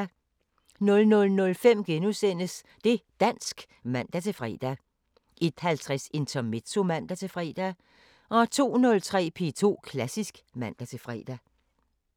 00:05: Det´ dansk *(man-fre) 01:50: Intermezzo (man-fre) 02:03: P2 Klassisk (man-fre)